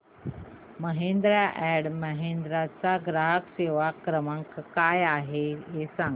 Mahindra and Mahindra चा ग्राहक सेवा क्रमांक काय आहे हे सांगा